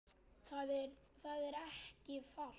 Það er ekki falt